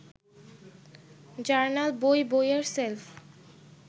journal, বই, বইয়ের shelf